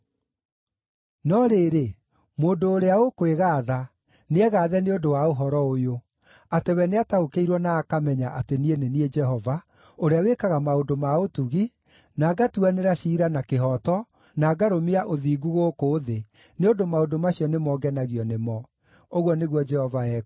no rĩrĩ, mũndũ ũrĩa ũkwĩgaatha, nĩegaathe nĩ ũndũ wa ũhoro ũyũ: atĩ we nĩataũkĩirwo na akamenya atĩ niĩ nĩ niĩ Jehova, ũrĩa wĩkaga maũndũ ma ũtugi, na ngatuanĩra ciira kĩhooto na ngarũmia ũthingu gũkũ thĩ, nĩ ũndũ maũndũ macio nĩmo ngenagio nĩmo,” ũguo nĩguo Jehova ekuuga.